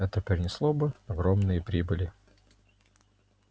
это принесло бы огромные прибыли